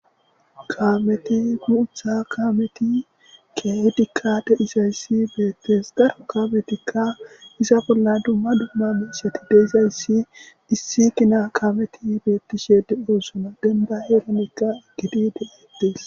Kaameti booththa kaameti kehidika deizaysi bettes daro kaametika iza bolla dumma dumma mishshettika des7izayssi betishe de7ossona dembanka eqqidi bettes.